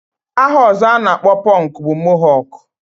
Aha ọzọ a na-akpọ pọnk bụ mohọk